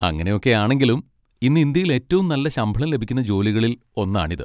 അങ്ങനെയൊക്കെയാണെങ്കിലും, ഇന്ന് ഇന്ത്യയിൽ ഏറ്റവും നല്ല ശമ്പളം ലഭിക്കുന്ന ജോലികളിൽ ഒന്നാണിത്.